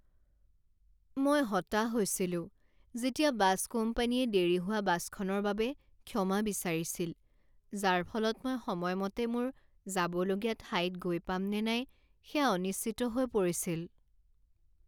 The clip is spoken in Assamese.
মই হতাশ হৈছিলো যেতিয়া বাছ কোম্পানীয়ে দেৰি হোৱা বাছখনৰ বাবে ক্ষমা বিচাৰিছিল, যাৰ ফলত মই সময়মতে মোৰ যাবলগীয়া ঠাইত গৈ পাম নে নাই সেয়া অনিশ্চিত হৈ পৰিছিল।